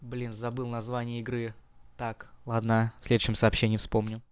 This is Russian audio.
блин забыл название игры так ладно в следующем сообщении вспомню